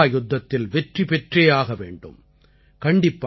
நாம் இந்த மஹா யுத்தத்தில் வெற்றி பெற்றே ஆக வேண்டும்